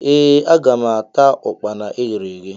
Ee aga m ata Ụkpana eghere eghe.